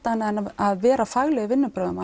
annað en að vera fagleg í vinnubrögðum